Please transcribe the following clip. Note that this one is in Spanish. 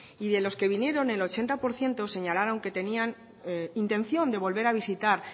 y de los que vinieron el ochenta por ciento señalaron que tenían intención de volver a visitar